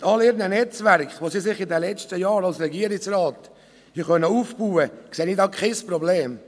Mit all ihren Netzwerken, die sie sich in den letzten Jahren als Regierungsratsmitglieder haben aufbauen können, sehe ich kein Problem.